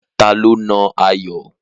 Ta ló nà Ayọ̀?